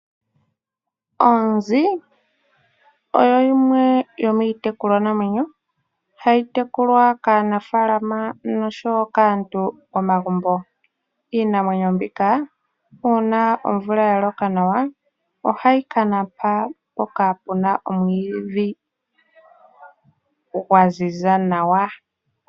Oonzi oyo yimwe yomiitekulwa namwenyo hayi tekulwa kaanafaalama nosho woo kaantu komagumbo. Iinamwenyo mbika uuna omvula ya loka nawa ohayi ka napa mpoka pu na omwiidhi gwa ziza nawa.